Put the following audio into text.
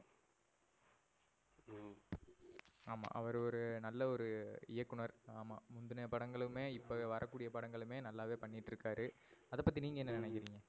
ஆமா. அவரு ஒரு நல்ல ஒரு இயக்குனர். ஆமா. முந்தின படங்களுமே இப்ப வர கூடிய படங்களுமே நல்லாவே பண்ணிட்டு இருக்காரு. அத பத்தி நீங்க என்ன நினைக்கிறீங்க?